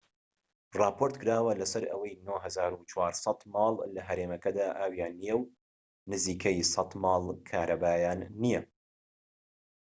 راپۆرتکراوە لەسەر ئەوەی ٩٤٠٠ ماڵ لە هەرێمەکەدا ئاویان نیە و نزیکەی ١٠٠ ماڵ کارەبایان نیە